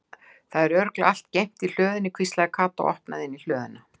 Það er örugglega allt geymt í hlöðunni hvíslaði Kata og opnaði inn í hlöðuna.